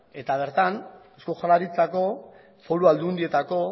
eta bertan eusko jaurlaritzako foru aldundietako